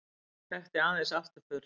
Þekkti aðeins afturför.